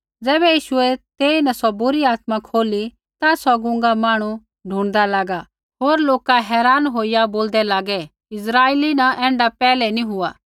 ज़ैबै यीशुऐ तेईन सौ बुरी आत्मा खोली ता सौ गूंगा मांहणु ढुणिदा लागा होर लोका हैरान होईया बोलदै लागै इस्राइला न ऐण्ढा पैहलै नी हुआ